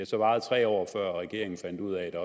så varet tre år før regeringen fandt ud af at der